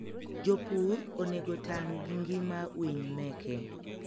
jopur onego otang gi ngima winy meke.